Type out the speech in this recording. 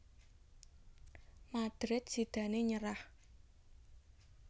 Madrid sidané nyerah